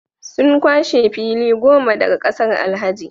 Sun kwashe fili goma daga kasar Alhaji